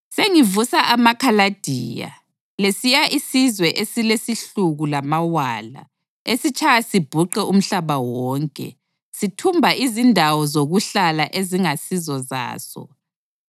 Sengivusa amaKhaladiya, lesiya isizwe esilesihluku lamawala, esitshaya sibhuqe umhlaba wonke, sithumba izindawo zokuhlala ezingasizo zaso.